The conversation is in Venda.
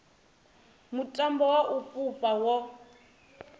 mutambo wa u fhufha wo